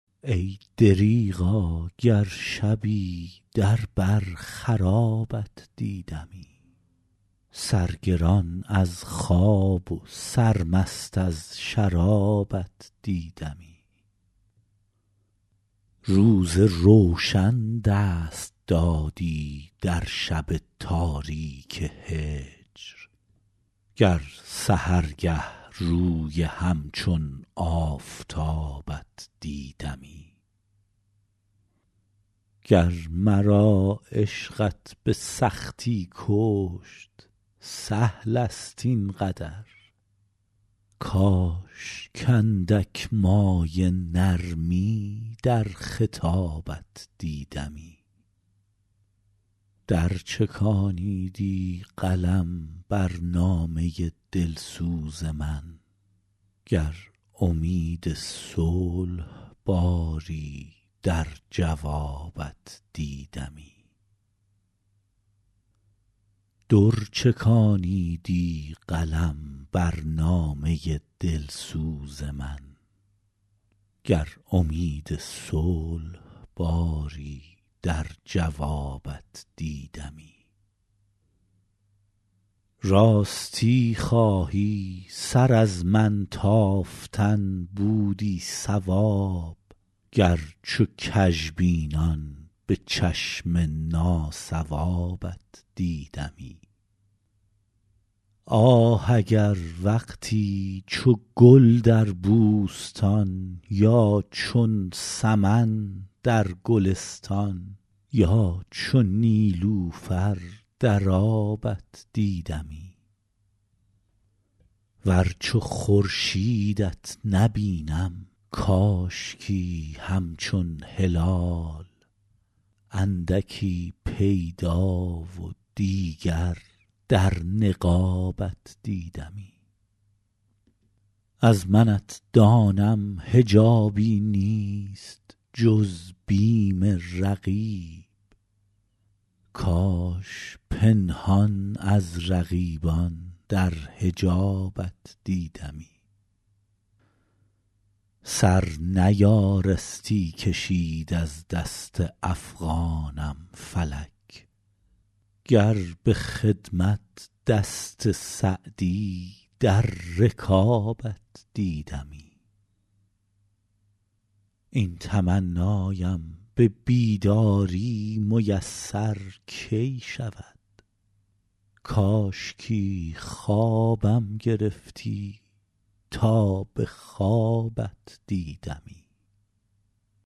ای دریغا گر شبی در بر خرابت دیدمی سرگران از خواب و سرمست از شرابت دیدمی روز روشن دست دادی در شب تاریک هجر گر سحرگه روی همچون آفتابت دیدمی گر مرا عشقت به سختی کشت سهل است این قدر کاش کاندک مایه نرمی در خطابت دیدمی در چکانیدی قلم بر نامه دلسوز من گر امید صلح باری در جوابت دیدمی راستی خواهی سر از من تافتن بودی صواب گر چو کژبینان به چشم ناصوابت دیدمی آه اگر وقتی چو گل در بوستان یا چون سمن در گلستان یا چو نیلوفر در آبت دیدمی ور چو خورشیدت نبینم کاشکی همچون هلال اندکی پیدا و دیگر در نقابت دیدمی از منت دانم حجابی نیست جز بیم رقیب کاش پنهان از رقیبان در حجابت دیدمی سر نیارستی کشید از دست افغانم فلک گر به خدمت دست سعدی در رکابت دیدمی این تمنایم به بیداری میسر کی شود کاشکی خوابم گرفتی تا به خوابت دیدمی